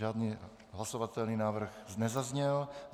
Žádný hlasovatelný návrh nezazněl.